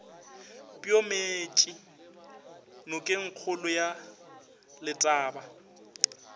peo meetše nokengkgolo ya letaba